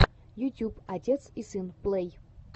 ютюб отец и сын плэй